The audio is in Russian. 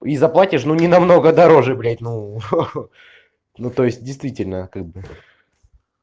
и заплатишь ну не намного дороже бля ну ха-ха ну то есть действительно как бы